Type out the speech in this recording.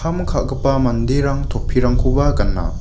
kam ka·gipa manderang topirangkoba gana.